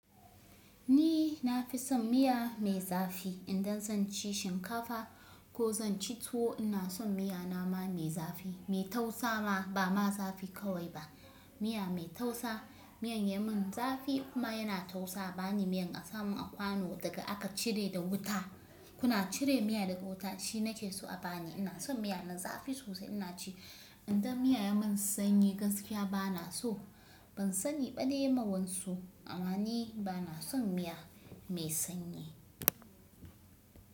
Ni na fi son miya mai zafi idan zan ci shinkafa ko zan ci tuwo. Ina son miya na ma mai zafi mai tausa ba ma zafi kawai ba. Miya mai tausa, miyan ya mun zafi kuma yana tausa. A ba ni miyan asamun a kwano daga aka cire da wuta. Kuna cire miya daga wuta shi na ke so a bani. Ina son miya na zafi sosai ina ci. Idan miya ya mun sanyi gaskiya ba na so. Ban sani ba dai ma wansu amma ni ba na son miya mai sanyi.